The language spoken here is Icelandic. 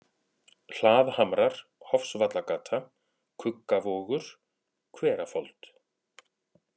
Hlaðhamrar, Hofsvallagata, Kuggavogur, Hverafold